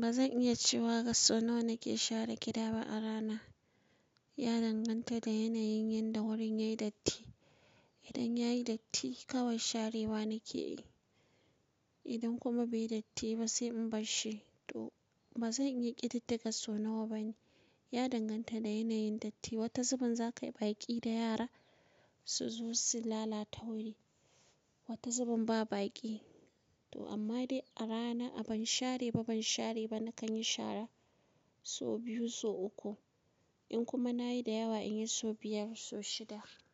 Ba zan iya cewa gasso nawa nake share gida ba a rana. Ya danganta da yanayin yanda wurin yayi datti. Idan yayi datti kawai sharewa nake yi. Idan kuma bai yi datti ba sai in barshi to ba zan iya ƙididdiga so nawa bane. Ya danganta da yanayin datti. Wata zuɓin za kayi baƙi da yara suzo su lala ta wuri, wata zuɓin ba baƙi. To amma dai a rana a ban share ba ban share ba nakan yi shara so biyu so uku. In kuma nayi da yawa in yi so biyar so shida.